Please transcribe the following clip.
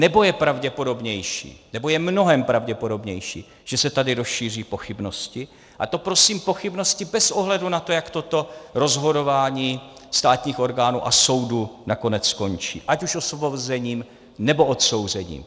Nebo je pravděpodobnější, nebo je mnohem pravděpodobnější, že se tady rozšíří pochybnosti, a to prosím pochybnosti bez ohledu na to, jak toto rozhodování státních orgánů a soudů nakonec skončí, ať už osvobozením, nebo odsouzením.